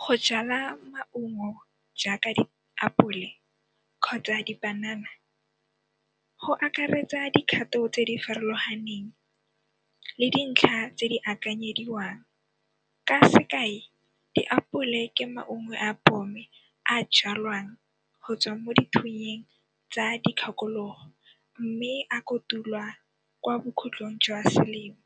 Go jala maungo jaaka diapole kgotsa dipanana go akaretsa dikgato tse di farologaneng le dintlha tse di akanyediwang. Ka sekai, diapole ke maungo a a jalwang go tswa mo dithunyeng tsa dikgakologo mme a kotulwa kwa bokhutlong jwa selemo,